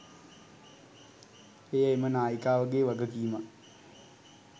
එය එම නායිකාවගේ වගකීමක්